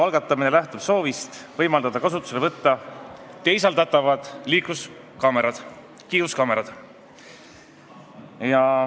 Algatamine lähtub soovist võimaldada kasutusele võtta teisaldatavad liikluskaamerad, mis mõõdavad kiirust.